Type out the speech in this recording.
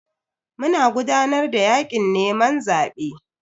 Muna gudanar da yakin neman zabe.